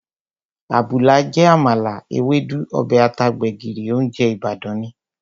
Àbùlà jẹ́ àmàlà, Ewédú, ọbẹ̀ ata, gbẹ̀gìrì, óúnjẹ Ìbàdàn ni